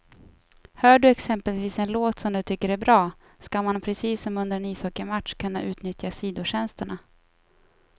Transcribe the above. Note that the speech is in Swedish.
Hör du exempelvis en låt som du tycker är bra, ska man precis som under en ishockeymatch kunna utnyttja sidotjänsterna.